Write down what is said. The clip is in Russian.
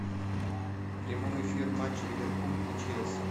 прямой эфир матча ливерпуль и челси